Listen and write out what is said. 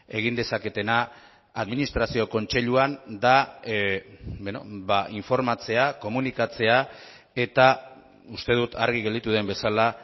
egin dezaketena administrazio kontseiluan da informatzea komunikatzea eta uste dut argi gelditu den bezala